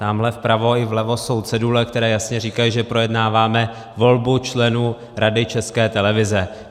Tamhle vpravo i vlevo jsou cedule, které jasně říkají, že projednáváme volbu členů Rady České televize.